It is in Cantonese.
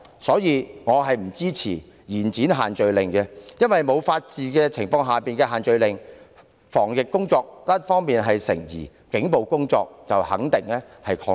因此，我不支持延展限聚令修訂期限。因為沒有法治之下的限聚令，防疫工作一方面成疑，警暴則肯定會擴大。